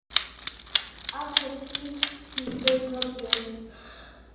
Allir þrír kinkuðu kolli.